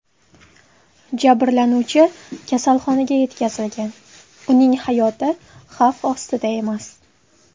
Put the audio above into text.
Jabrlanuvchi kasalxonaga yetkazilgan, uning hayoti xavf ostida emas.